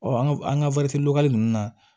an ka an ka ninnu na